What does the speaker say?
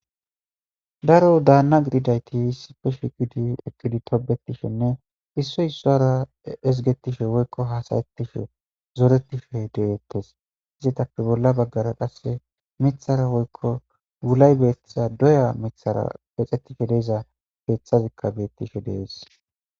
Daro daanna gididayti sipe shikidi ekkidi tobetishenne isso issuara ezgetishe woykko haasayettishe zoretishe deettes izitappe bolla baggara qasse mithara woykko wulay beettiza doya mithara pexetishe deiza beeththazikka bettishe dees